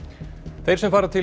þeir sem fara til